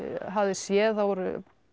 hafði séð það voru